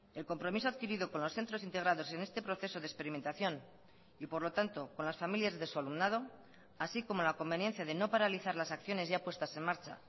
el compromiso adquirido con los centros integrados en este proceso de experimentación y por lo tanto con las familias de su alumnado así como la conveniencia de no paralizar las acciones ya puestas en marcha